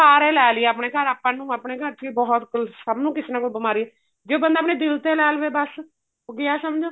ਬੁਖਾਰ ਏ ਲੈ ਲਈ ਆਪਣੇ ਘਰ ਆਪਾਂ ਨੂੰ ਆਪਣੇ ਘਰ ਚ ਹੀ ਬਹੁਤ ਸਭ ਨੂੰ ਕਿਸੀ ਨੂੰ ਕੋਈ ਬਿਮਾਰੀ ਜੇ ਉਹ ਬੰਦਾ ਆਪਣੇ ਦਿਲ ਤੇ ਲੈ ਲਵੇ ਬੱਸ ਉਹ ਗਿਆ ਸਮਝੋ